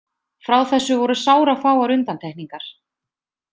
Frá þessu voru sárafáar undantekningar.